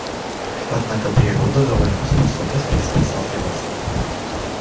однако природа дала ему способность приспосабливаться